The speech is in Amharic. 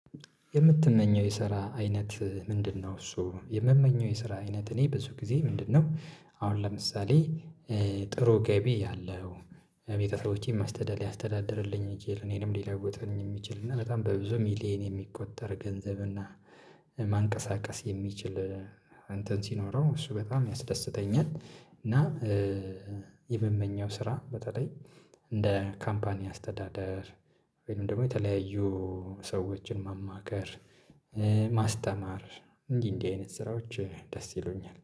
የምትመኘው የስራ አይነት ምንድነው እሱ? የምመኘው የስራ አይነት እኔ ብዙ ጊዜ ምንድነው አሁን ለምሳሌ ጥሩ ገቢ ያለው ቤተሰቦቼን ማስተዳደር ያስተዳድርልኝ የሚችል እኔንም ሊለውጠኝ የሚችል እና በጣም በብዙ ሚሊየን የሚቆጠር ገንዘብ እና ማንቀሳቀስ የሚችል አንተን ሲኖረው እሱ በጣም ያስደስተኛል እና የምመኘው ስራ በተለይ እንደ ካምፓኒ አስተዳደር ወይም ደግሞ የተለያዩ ሰዎችን ማማከር ማስተማር እንዲህ እንዲህ አይነት ስራዎች ደስ ይሉኛል፤